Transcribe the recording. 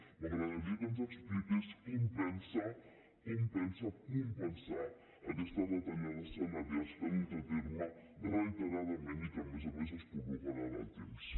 m’agradaria que ens expliqués com pensa compensar aquestes retallades salarials que ha dut a terme reiteradament i que a més a més es prorroguen en el temps